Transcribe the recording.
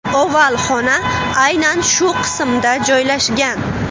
Oval xona aynan shu qismda joylashgan.